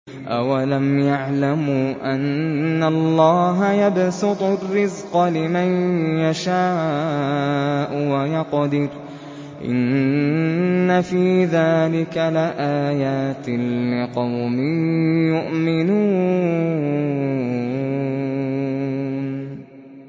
أَوَلَمْ يَعْلَمُوا أَنَّ اللَّهَ يَبْسُطُ الرِّزْقَ لِمَن يَشَاءُ وَيَقْدِرُ ۚ إِنَّ فِي ذَٰلِكَ لَآيَاتٍ لِّقَوْمٍ يُؤْمِنُونَ